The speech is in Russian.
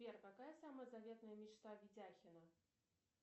сбер какая самая заветная мечта видяхина